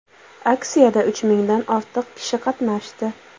Aksiyada uch mingdan ortiq kishi qatnashdi.